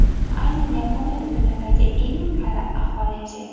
Aynan Yaponiyada dunyodagi eng qari aholi yashaydi.